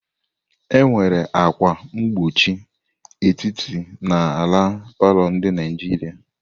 Enwere akwa mkpuchi etiti n'ala palọ ndị Naijiria.